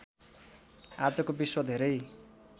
आजको विश्व धेरै